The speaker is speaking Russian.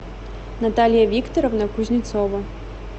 наталья викторовна кузнецова